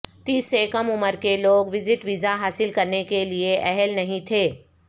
تیس سے کم عمر کے لوگ وزٹ ویزا حاصل کرنے کے اہل نہیں تھے